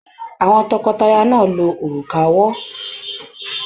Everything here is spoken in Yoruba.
Àwọn tọkọtaya náà lo òrùka ọwọ́.